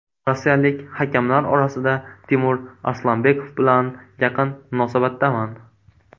Rossiyalik hakamlar orasida Timur Arslanbekov bilan yaqin munosabatdaman.